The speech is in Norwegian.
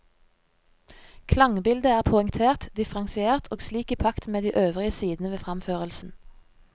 Klangbildet er poengtert, differensiert og slik i pakt med de øvrige sidene ved fremførelsen.